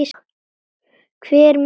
Hver mun koma?